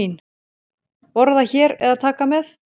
Borða hér eða taka með?